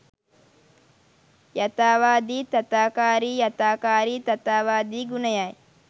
යථාවාදි තථාකාරි යථාකාරි තථාවාදි ගුණයයි.